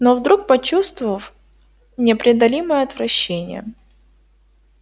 но вдруг почувствовав непреодолимое отвращение